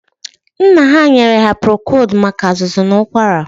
Nna ha nyere ha prokod maka azụzụ na ụkwara.